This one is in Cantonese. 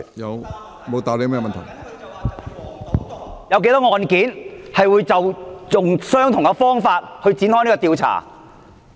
我問他有多少"黃、賭、毒"案件是採用相同的方法去展開調查？